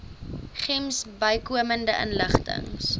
gems bykomende inligting